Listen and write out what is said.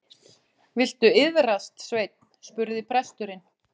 Viltu iðrast, Sveinn, spurði presturinn.